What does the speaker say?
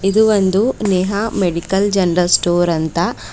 ಇದು ಒಂದು Neha medical general store ಅಂತ--